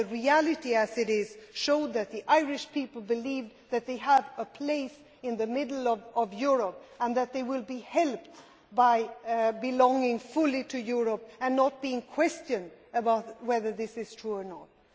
But the reality showed that the Irish people believe that they have a place in the centre of Europe, and that they will be helped by belonging fully to Europe and not being questioned about whether this is true or not.